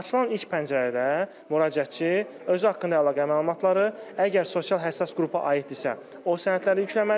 Açılan ilk pəncərədə müraciətçi özü haqqında əlaqə məlumatları, əgər sosial həssas qrupa aiddirsə, o sənədləri yükləməlidir.